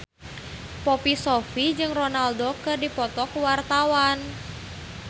Poppy Sovia jeung Ronaldo keur dipoto ku wartawan